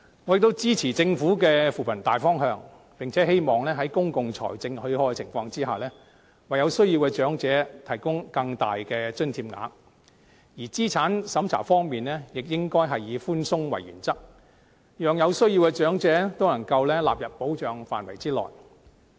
我支持政府的扶貧大方向，並希望在公共財政許可的情況下，為有需要的長者提供更大的津貼額；而資產審查方面，亦應該以寬鬆為原則，讓有需要的長者都能獲納入保障的範圍內。